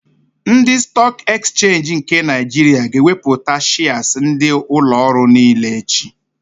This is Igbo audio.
Ndị Stọọk Ekchenji nke Naịjiria ga-ewepụta shịas ndị ụlọorụ niile echi.